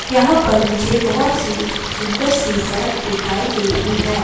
यहाँ पर मुझे बहुत सी सुंदर सी सड़क दिखाई दे रही है।